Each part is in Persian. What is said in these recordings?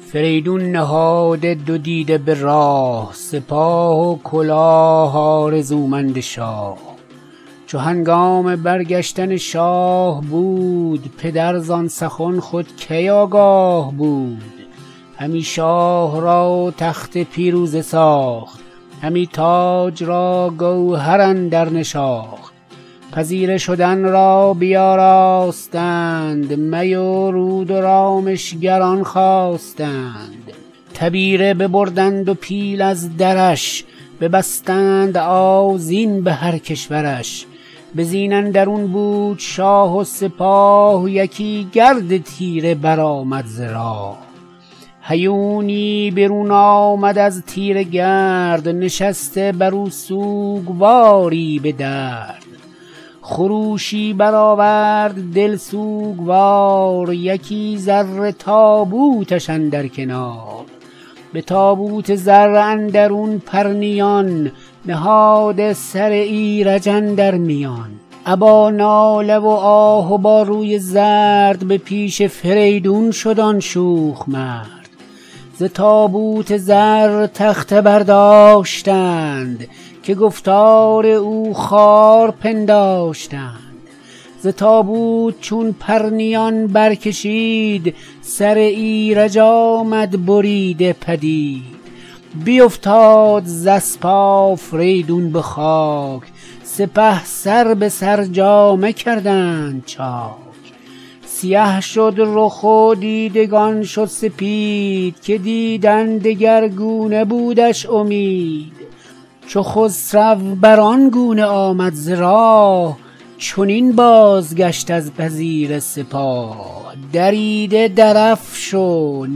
فریدون نهاده دو دیده به راه سپاه و کلاه آرزومند شاه چو هنگام برگشتن شاه بود پدر زان سخن خود کی آگاه بود همی شاه را تخت پیروزه ساخت همی تاج را گوهر اندر نشاخت پذیره شدن را بیاراستند می و رود و رامشگران خواستند تبیره ببردند و پیل از درش ببستند آذین به هر کشورش به زین اندرون بود شاه و سپاه یکی گرد تیره برآمد ز راه هیونی برون آمد از تیره گرد نشسته برو سوگواری به درد خروشی برآورد دل سوگوار یکی زر تابوتش اندر کنار به تابوت زر اندرون پرنیان نهاده سر ایرج اندر میان ابا ناله و آه و با روی زرد به پیش فریدون شد آن شوخ مرد ز تابوت زر تخته برداشتند که گفتار او خوار پنداشتند ز تابوت چون پرنیان برکشید سر ایرج آمد بریده پدید بیافتاد ز اسپ آفریدون به خاک سپه سر به سر جامه کردند چاک سیه شد رخ و دیدگان شد سپید که دیدن دگرگونه بودش امید چو خسرو بران گونه آمد ز راه چنین بازگشت از پذیره سپاه دریده درفش و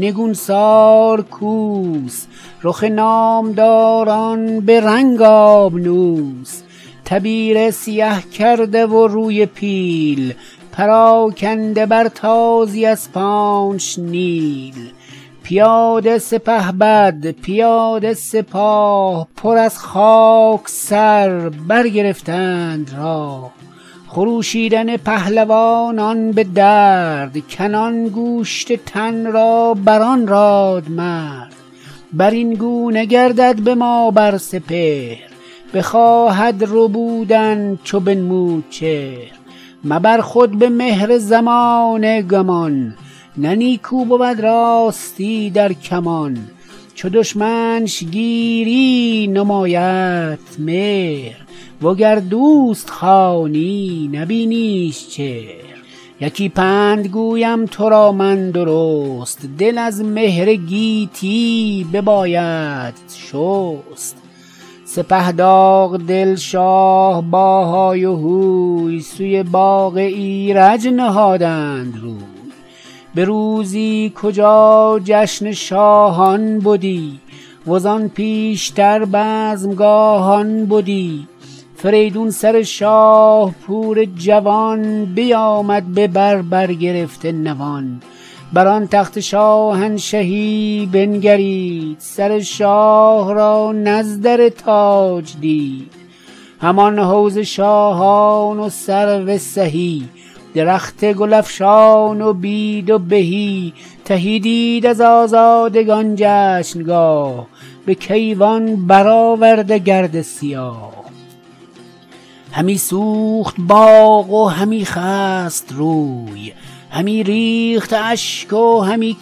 نگونسار کوس رخ نامداران به رنگ آبنوس تبیره سیه کرده و روی پیل پراکنده بر تازی اسپانش نیل پیاده سپهبد پیاده سپاه پر از خاک سر برگرفتند راه خروشیدن پهلوانان به درد کنان گوشت تن را بران رادمرد برین گونه گردد به ما بر سپهر بخواهد ربودن چو بنمود چهر مبر خود به مهر زمانه گمان نه نیکو بود راستی در کمان چو دشمنش گیری نمایدت مهر و گر دوست خوانی نبینیش چهر یکی پند گویم ترا من درست دل از مهر گیتی ببایدت شست سپه داغ دل شاه با های و هوی سوی باغ ایرج نهادند روی به روزی کجا جشن شاهان بدی وزان پیشتر بزمگاهان بدی فریدون سر شاه پور جوان بیامد ببر برگرفته نوان بر آن تخت شاهنشهی بنگرید سر شاه را نزدر تاج دید همان حوض شاهان و سرو سهی درخت گلفشان و بید و بهی تهی دید از آزادگان جشنگاه به کیوان برآورده گرد سیاه همی سوخت باغ و همی خست روی همی ریخت اشک و همی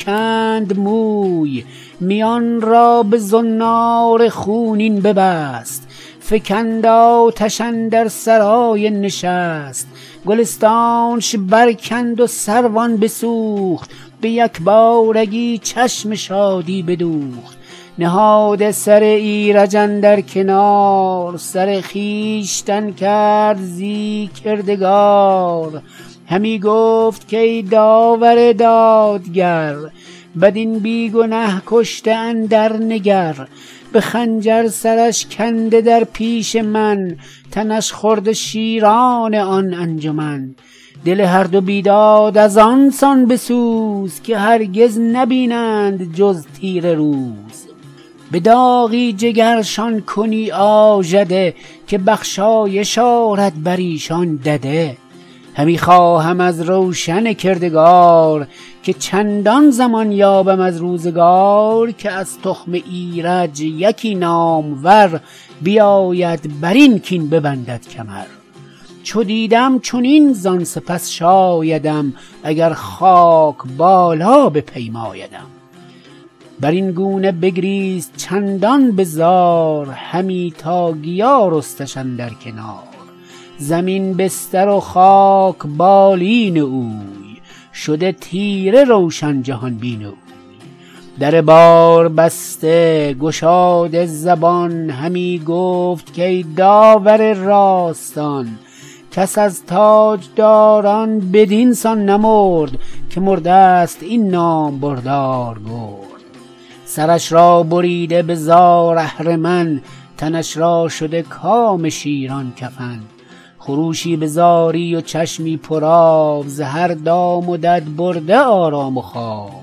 کند موی میان را به زنار خونین ببست فکند آتش اندر سرای نشست گلستانش برکند و سروان بسوخت به یکبارگی چشم شادی بدوخت نهاده سر ایرج اندر کنار سر خویشتن کرد زی کردگار همی گفت کای داور دادگر بدین بی گنه کشته اندر نگر به خنجر سرش کنده در پیش من تنش خورده شیران آن انجمن دل هر دو بیداد از آن سان بسوز که هرگز نبینند جز تیره روز به داغی جگرشان کنی آژده که بخشایش آرد بریشان دده همی خواهم از روشن کردگار که چندان زمان یابم از روزگار که از تخم ایرج یکی نامور بیاید برین کین ببندد کمر چو دیدم چنین زان سپس شایدم اگر خاک بالا بپیمایدم برین گونه بگریست چندان بزار همی تا گیا رستش اندر کنار زمین بستر و خاک بالین او شده تیره روشن جهان بین او در بار بسته گشاده زبان همی گفت کای داور راستان کس از تاجداران بدین سان نمرد که مردست این نامبردار گرد سرش را بریده به زار اهرمن تنش را شده کام شیران کفن خروشی به زاری و چشمی پرآب ز هر دام و دد برده آرام و خواب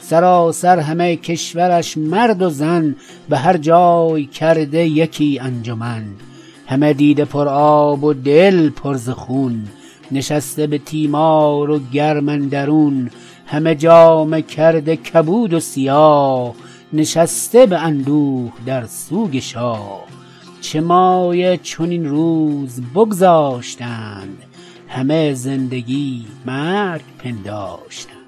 سراسر همه کشورش مرد و زن به هر جای کرده یکی انجمن همه دیده پرآب و دل پر ز خون نشسته به تیمار و گرم اندرون همه جامه کرده کبود و سیاه نشسته به اندوه در سوگ شاه چه مایه چنین روز بگذاشتند همه زندگی مرگ پنداشتند